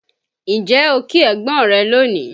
Ǹjẹ́ o kí ẹ̀gbọ́n rẹ lónìí?